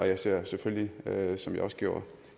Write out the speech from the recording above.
jeg ser selvfølgelig som jeg også gjorde